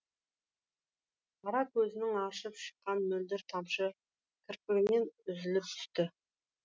қара көзінен аршып шыққан мөлдір тамшы кірпігінен үзіліп түсті